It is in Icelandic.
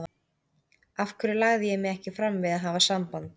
Af hverju lagði ég mig ekki fram við að hafa samband?